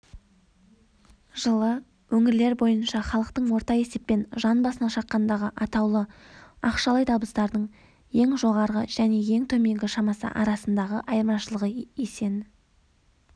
жылы өңірлер бойынша халықтың орта есеппен жан басына шаққандағы атаулы ақшалай табыстардың ең жоғарғы және ең төменгі шамасы арасындағы айырмашылығы есені